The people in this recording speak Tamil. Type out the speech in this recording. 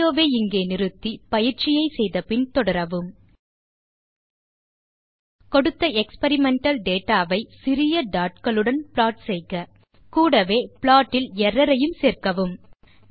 வீடியோ வை இங்கே பாஸ் செய்க பின் வரும் சோதனையை செய்து பார்த்து பின் வீடியோ வை மீண்டும் துவக்கவும் கொடுத்த எக்ஸ்பெரிமெண்டல் டேட்டா ஐ சிறிய dotகளுடன் ப்ளாட் செய்க கூடவே ப்ளாட் இல் எர்ரர் ஐயும் சேர்க்கவும்